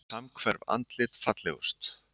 Samhverf andlit fallegust